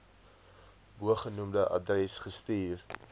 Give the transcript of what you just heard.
bogenoemde adres gestuur